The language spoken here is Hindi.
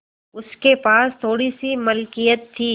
उसके पास कुछ थोड़ीसी मिलकियत थी